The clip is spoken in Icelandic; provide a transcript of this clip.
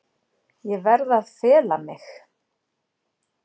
Ég verð að fela mig.